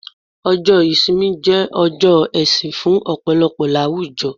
ọjọ ìsinmi je ọjọ ẹsìn fún ọpọlọpọ àwùjọ